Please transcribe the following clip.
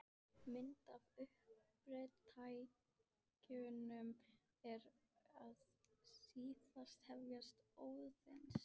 Mynd af uppdrættinum er í síðasta hefti Óðins.